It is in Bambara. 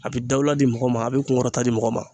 A bi dawula di mɔgɔ ma, a be kuŋɔrɔta di mɔgɔ ma.